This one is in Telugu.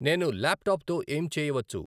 నేను ల్యాప్టాప్ తో ఏం చేయవచ్చు